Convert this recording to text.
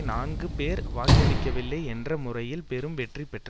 நான்கு பேர் வாக்களிக்கவில்லை என்ற முறையில் பெரும் வெற்றி பெற்றது